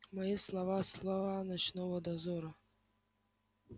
мои слова слова ночного дозора